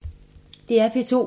DR P2